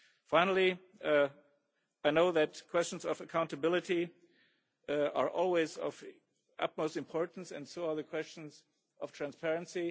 Finally, I know that questions of accountability are always of utmost importance and so are questions of transparency.